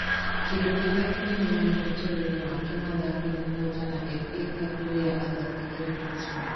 Kĩndũ kĩrĩa kĩnene mũno ũtũũro-inĩ wake mathako nĩ kũhootana FA Cup rĩrĩa athakagĩra Portsmouth.